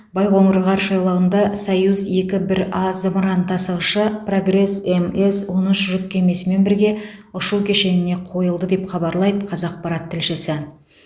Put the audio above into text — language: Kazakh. байқоңыр ғарыш айлағында союз екі бір а зымыран тасығышы прогресс мс он үш жүк кемесімен бірге ұшу кешеніне қойылды деп хабарлайды қазақпарат тілшісі